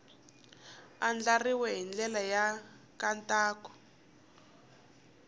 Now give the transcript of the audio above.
andlariwile hi ndlela ya nkhaqato